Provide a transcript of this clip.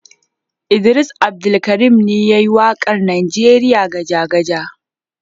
Idris Abdulkarim ne ya yi waƙar Najeriya Gajagaja.